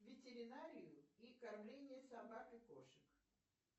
ветеринарию и кормление собак и кошек